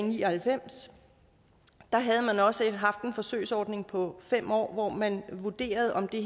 ni og halvfems havde man også haft en forsøgsordning på fem år hvor man vurderede om det